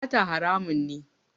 Sata haramun ne